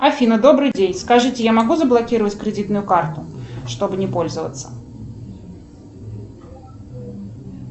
афина добрый день скажите я могу заблокировать кредитную карту чтобы не пользоваться